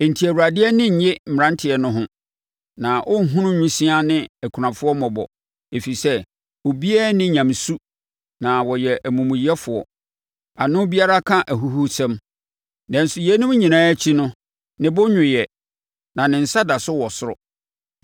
Enti Awurade ani rennye mmeranteɛ no ho, na ɔrenhunu nwisiaa ne akunafoɔ mmɔbɔ ɛfiri sɛ, obiara nni nyamesu na wɔyɛ amumuyɛfoɔ. Ano biara ka ahuhusɛm. Nanso yeinom nyinaa akyi no, ne bo nnwooɛ, na ne nsa da so wɔ soro.